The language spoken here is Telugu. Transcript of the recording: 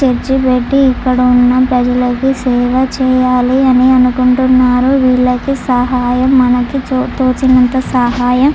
చర్చి పెట్టి ఇక్కడ ఉన్న ప్రజలకి సేవ చేయాలని అనుకుంటున్నారు వీళ్లకి సహాయం మనకి తోచినంత సహాయం చేయాలని అనుకుంటున్నారు.